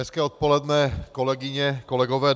Hezké odpoledne, kolegyně, kolegové.